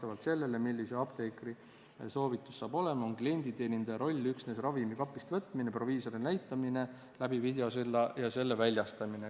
Vastavalt sellele, milline on apteekri soovitus, on klienditeenindaja roll üksnes ravimi kapist võtmine, proviisorile näitamine läbi videosilla ja selle väljastamine.